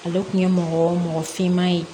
Ale kun ye mɔgɔ mɔgɔ finman ye